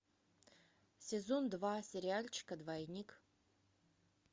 сезон два сериальчика двойник